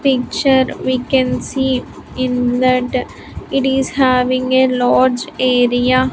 picture we can see in that it is having a large area.